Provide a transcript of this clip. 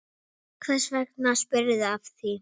Hvers vegna spyrðu að því?